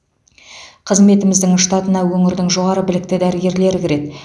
қызметіміздің штатына өңірдің жоғары білікті дәрігерлері кіреді